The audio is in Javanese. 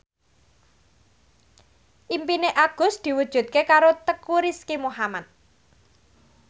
impine Agus diwujudke karo Teuku Rizky Muhammad